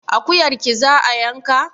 Akuyarki za a yanka?